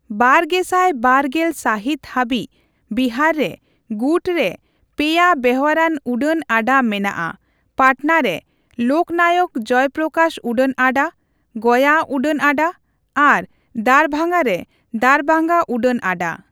ᱵᱟᱨᱜᱮᱥᱟᱭ ᱵᱟᱨ ᱜᱮᱞ ᱥᱟᱦᱤᱛ ᱦᱟᱵᱤᱡ ᱵᱤᱦᱟᱨ ᱨᱮ ᱜᱩᱴ ᱨᱮ ᱯᱮᱭᱟ ᱵᱮᱣᱦᱟᱨᱟᱱ ᱩᱰᱟᱹᱱ ᱟᱰᱟ ᱢᱮᱱᱟᱜᱼᱟᱺ ᱯᱟᱴᱱᱟ ᱨᱮ ᱞᱳᱠᱱᱟᱭᱚᱠ ᱡᱚᱭᱯᱨᱚᱠᱟᱥ ᱩᱰᱟᱹᱱ ᱟᱰᱟ, ᱜᱚᱭᱟ ᱩᱰᱟᱹᱱ ᱟᱰᱟ ᱟᱨ ᱫᱟᱨᱵᱷᱟᱸᱜᱟ ᱨᱮ ᱫᱟᱨᱵᱷᱟᱸᱜᱟ ᱩᱰᱟᱹᱱ ᱟᱰᱟ ᱾